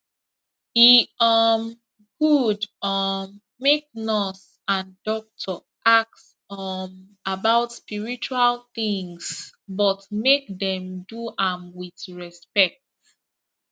e um good um make nurse and doctor ask um about spiritual things but make dem do am with respect